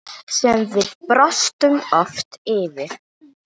Sem við brostum oft yfir.